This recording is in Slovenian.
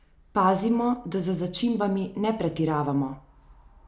Pazimo, da z začimbami ne pretiravamo!